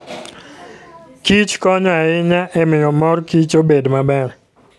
kichkonyo ahinya e miyo mor kich obed maber.